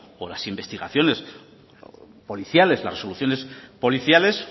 o las investigaciones policiales las resoluciones policiales